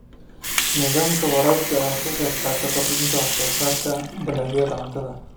Nidaamka waraabka ayaa ka qaybqaata kordhinta wax soo saarka dalagyada cuntada.